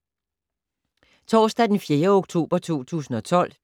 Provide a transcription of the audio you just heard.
Torsdag d. 4. oktober 2012